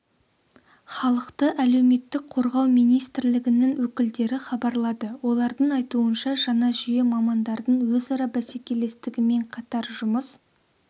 халықты әлеуметтік қорғау министрлігінің өкілдері хабарлады олардың айтуынша жаңа жүйе мамандардың өзара бәсекелестігімен қатар жұмыс